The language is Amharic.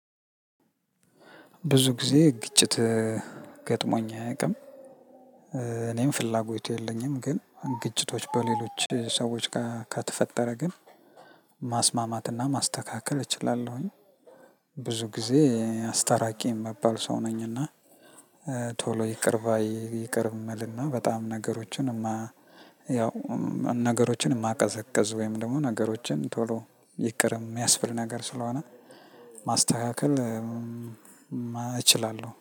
ብዙ ጊዜ ግጭት ገጥሞኝ አያቅም እኔም ፍላጎት የለኝም ግን ግጭቶች በሌሎች ሰዎች ጋ ከተፈጠረ ግን ማስማማትና ማስተካከል እችላለሁኝ። ብዙ ጊዜ አስታራቂ እምባል ሰው ነኝና። ቶሎ ይቅር ባይ ይቅር እምልና በጣም ነገሮችን ያው ነገሮችን እማቀዘቅዝ ወይም ደግሞ ነገሮችን ቶሎ ይቅር እሚያስብል ነገር ስለሆነ። ማስተካከል እችላለሁ